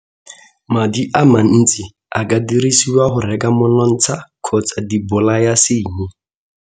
Madi a mantsi a ka dirisiwa go reka monontsha kgotsa dibolayasenyi.